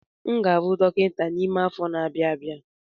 M ga-abụ dọkịta n'ime afọ anọ na-abịa